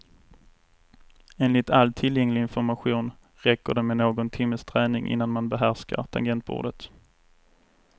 Enligt all tillgänglilg information räcker det med någon timmes träning innan man behärskar tangentbordet.